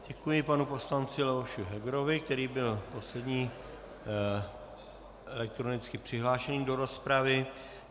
Děkuji panu poslanci Leoši Hegerovi, který byl poslední elektronicky přihlášený do rozpravy.